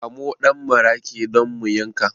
Kamo ɗan maraƙi don mu yanka